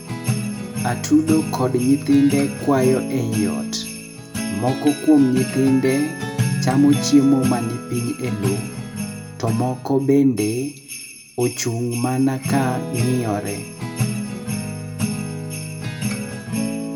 Atudo kod nyithinde kwayo eiot. Moko kuom nyithinde chamo chiemo man piny ei loo. To moko bende, ochung' mana ka ng'iyore.